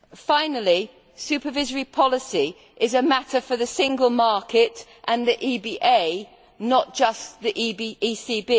Finally, supervisory policy is a matter for the single market and the EBA, not just the ECB.